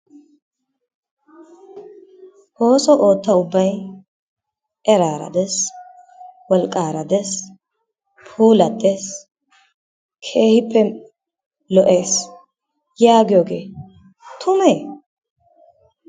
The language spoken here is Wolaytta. Ooso ootta ubbayi etaara des ,wolqqaara des ,puulattes, keehippe lo'es yaagiyogee tumee?